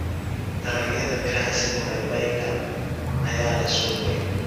Dalagyada miraha sida babayga ayaa leh suuq weyn.